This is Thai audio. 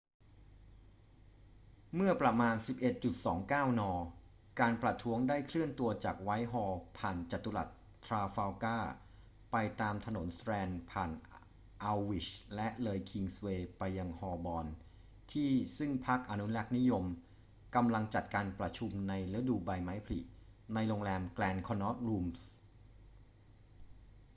เมื่อประมาณ 11.29 น การประท้วงได้เคลื่อนตัวจากไวท์ฮอลล์ ผ่านจัตุรัสทราฟัลการ์ไปตามถนนสแตรนด์ ผ่านอัลด์วิช และเลยคิงส์เวย์ไปยังฮอลบอร์นที่ซึ่งพรรคอนุรักษ์นิยมกำลังจัดการประชุมในฤดูใบไม้ผลิในโรงแรม grand connaught rooms